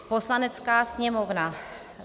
Poslanecká sněmovna